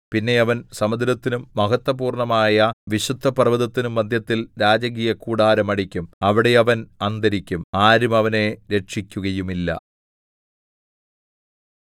പിന്നെ അവൻ സമുദ്രത്തിനും മഹത്ത്വപൂർണ്ണമായ വിശുദ്ധപർവ്വതത്തിനും മദ്ധ്യത്തിൽ രാജകീയ കൂടാരം അടിക്കും അവിടെ അവൻ അന്തരിക്കും ആരും അവനെ രക്ഷിക്കുകയുമില്ല